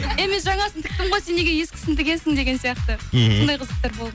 е мен жаңасын тіктім ғой сен неге ескісін тігесін деген сияқты сондай қызықтар болған